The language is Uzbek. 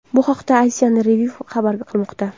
Bu haqda Asian Review xabar qilmoqda .